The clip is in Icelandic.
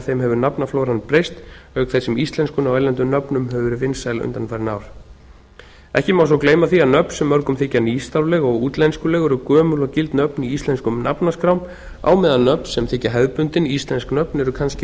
þeim hefur nafnaflóran breyst auk þess sem íslenskun á erlendum nöfnum hefur gerð vinsæl undanfarin ár ekki má þó gleyma því að nöfn sem mörgum þykja nýstárleg og útlenskuleg eru gömul og gild nöfn í íslenskum nafnaskrám á meðan nöfn sem þykja hefðbundin íslensk nöfn eru kannski